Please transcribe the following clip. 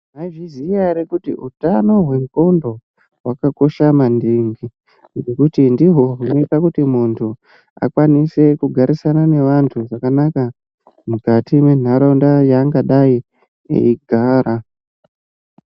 Mwaizviziya ere kuti utano hwendxondo hwakakosha maningi ngekuti ndihwo hunoita kuti muntu akwanise kugarisana nevantu vakawanda mukati mwentaraunda yaangadai eigara.